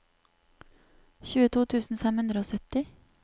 tjueto tusen fem hundre og sytti